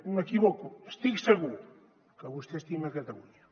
m’equivoco estic segur que vostè estima catalunya